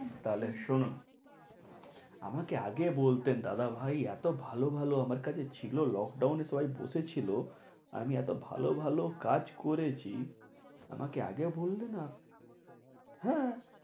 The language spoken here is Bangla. তাহলে শুনুন আমাকে আগে বলতেন দাদা ভাই, এতো ভালো ভালো আমার কাছে ছিলো lockdown এ সবাই বসে ছিলো আমি এতো ভালো ভালো কাজ করেছি আমাকে আগে বললে না হ্যাঁ